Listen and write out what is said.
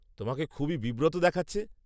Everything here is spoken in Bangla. তোমাকে খুবই বিব্রত দেখাচ্ছে।